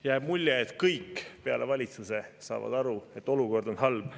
Jääb mulje, et kõik peale valitsuse saavad aru, et olukord on halb.